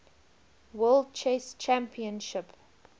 world chess championship